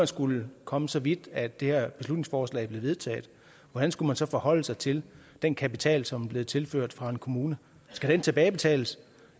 skulle komme så vidt at det her beslutningsforslag blev vedtaget hvordan skulle man så forholde sig til den kapital som er blevet tilført fra en kommune skal den tilbagebetales